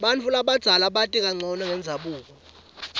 bantfu labadzala bati kancono ngendzabuko